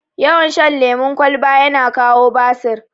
Yawan shan lemun kwalba yana kawo basir